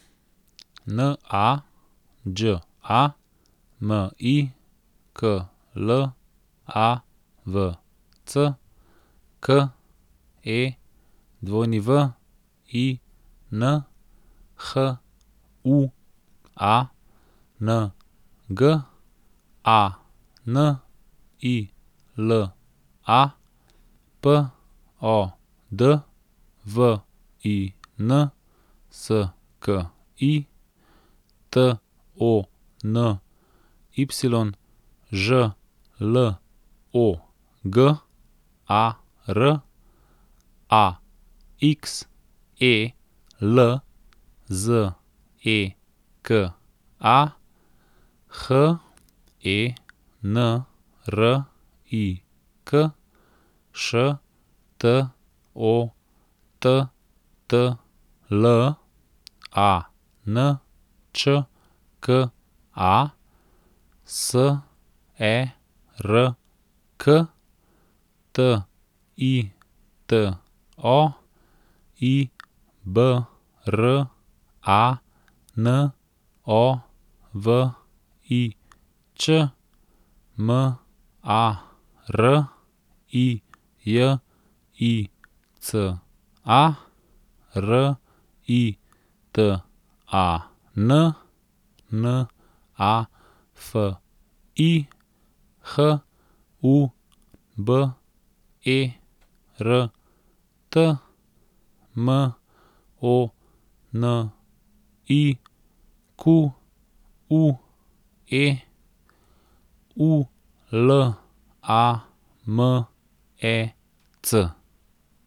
N A Đ A, M I K L A V C; K E W I N, H U A N G; A N I L A, P O D V I N S K I; T O N Y, Ž L O G A R; A X E L, Z E K A; H E N R I K, Š T O T T L; A N Č K A, S E R K; T I T O, I B R A N O V I Ć; M A R I J I C A, R I T A N; N A F I, H U B E R T; M O N I Q U E, U L A M E C.